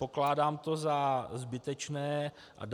Pokládám to za zbytečné a